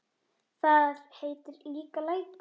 Þar heitir líka Lækur.